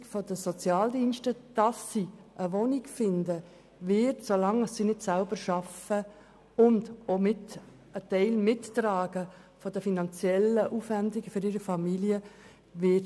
Die Unterstützung für die Wohnungssuche durch die Sozialdienste werde auch in den Zentren behalten, solange die Flüchtlinge nicht selber arbeiten und einen Teil der finanziellen Aufwendungen für ihre Familien mittragen würden.